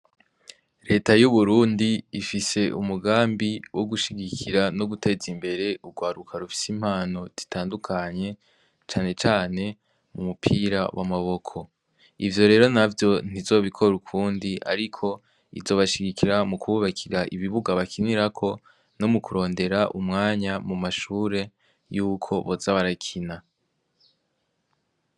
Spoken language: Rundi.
Leta y'uburundi ifise umugambi wo gushigikira no guteza imbere urwaruka rufise impano ditandukanye canecane mu mupira w' amaboko ivyo rero na vyo ntizobikora ukundi, ariko izobashigikira mu kububakira ibibuga bakinirako no mu kurondera umwanya mu mashure yuko boza abarakina.